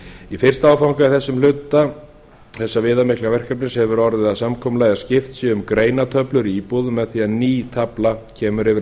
í fimmta áfanga í þessum hluta þessa viðamikla verkefnis hefur orðið að samkomulagi að skipt sé um greinatöflur í íbúðum með því að ný tafla kemur fyrir